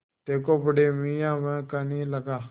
देखो बड़े मियाँ वह कहने लगा